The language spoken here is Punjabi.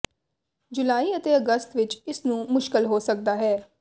ਜੁਲਾਈ ਅਤੇ ਅਗਸਤ ਵਿੱਚ ਇਸ ਨੂੰ ਮੁਸ਼ਕਲ ਹੋ ਸਕਦਾ ਹੈ